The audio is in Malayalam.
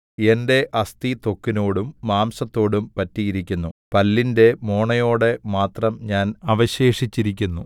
എന്റെ അസ്ഥി ത്വക്കിനോടും മാംസത്തോടും പറ്റിയിരിക്കുന്നു പല്ലിന്റെ മോണയോടെ മാത്രം ഞാൻ അവശേഷിച്ചിരിക്കുന്നു